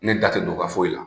Ne da tɛ don o ka foyi la.